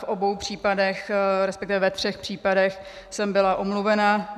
V obou případech, respektive ve třech případech jsem byla omluvená.